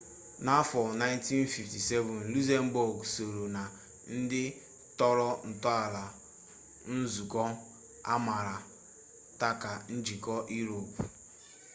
n'afọ 1957 lukzembọg sooro na ndị tọrọ ntọala nzukọ amaara ta ka njikọ iroopu